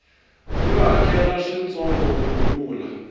yo hakela swintsongo ku tlula